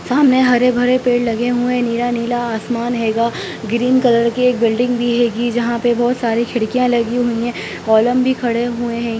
सामने हरे-भरे पेड़ लगे हुए हैं नीला-नीला आसमान हैगा ग्रीन कलर की बिल्डिंग भी हैगी जहाँ पर बहुत सारी खिड़कियां लगी हुई हैं कोलम भी खड़े हुए हैं।